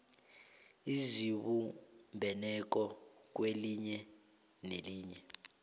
ezibumbeneko kwelinye nelinye